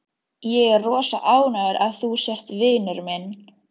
Ég er rosa ánægður að þú sért vinur minn.